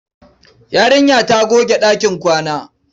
Yarinya ta goge ɗakin kwana.